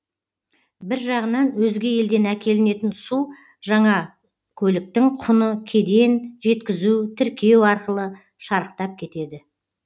бір жағынан өзге елден әкелінетін су жаңа көліктің құны кеден жеткізу тіркеу арқылы шарықтап кетеді